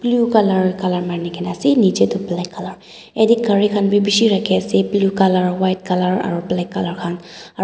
blue colour colour marikena ase nechidae toh black colour eteh gari khan bhi beshi rakhey ase blue colour white colour aro black colour khan aro--